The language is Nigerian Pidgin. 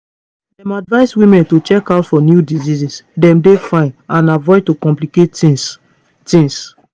dem advise women to check out for new diseases dem dey fine and avoid to complicate tings tings